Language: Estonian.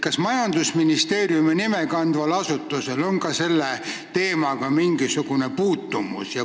Kas majandusministeeriumi nime kandval asutusel on ka nimetatud teemaga mingisugune puutumus?